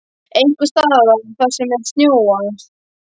Einhvers staðar þar sem er snjór.